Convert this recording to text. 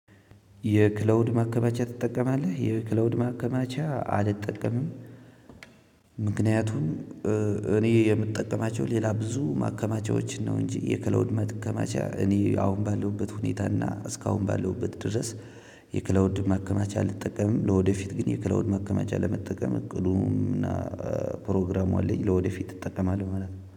የክላውድ ማከማቻ ትጠቀማለህ? የክላውድ ማከማቻ አልጠቀምም። ምክንያቱም እኔ የምጠቀማቸው ሌላ ብዙ ማከማቻዎችን ነው። እንጂ የክላውድ ማከማቻ እኔ አሁን ባለሁበት ሁኔታና እስካሁን ባለሁበት ድረስ። የክላውድ ማከማቻ አልጠቀምም ለወደፊት ግን የክላውድ ማከማቻ ለመጠቀም እቅዱም እና ፕሮግራሙ አለኝ ለወደፊት እጠቀማለሁ ማለት ነው